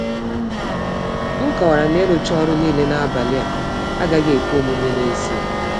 M kọwara na ịrụcha ọrụ niile n’abalị a agaghị ekwe omume n’ezie.